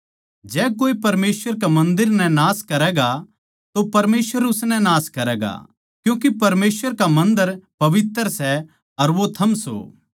जै कोए परमेसवर कै मन्दर नै नाश करैगा तो परमेसवर उसनै नाश करैगा क्यूँके परमेसवर का मन्दर पवित्र सै अर वो थम सो